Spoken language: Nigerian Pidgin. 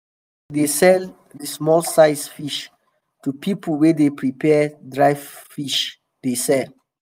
sometimes we dey sell di small size fish to pipo wey dey prepare dry fish dey sell.